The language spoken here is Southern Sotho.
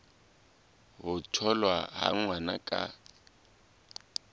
ho tholwa ha ngwana ka